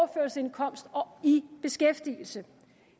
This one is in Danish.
i beskæftigelse